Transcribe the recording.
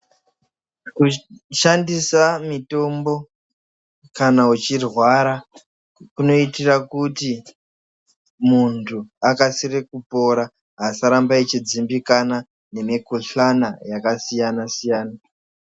Kushandisa mitombo kana uchirwara, kunoitira kuti muntu akasire kupora, muntu asaramba achidzimbikana nemikhuhlana yakasiyana-siyana.